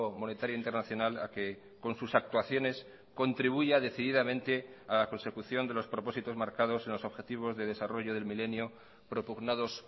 monetario internacional a que con sus actuaciones contribuya decididamente a la consecución de los propósitos marcados en los objetivos de desarrollo del milenio propugnados